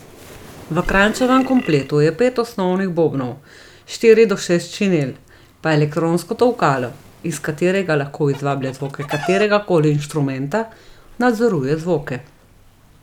V Kranjčevem kompletu je pet osnovnih bobnov, štiri do šest činel, pa elektronsko tolkalo, iz katerega lahko izvablja zvoke kateregakoli inštrumenta, nadzoruje zvoke.